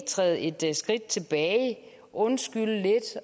træde et skridt tilbage undskylde lidt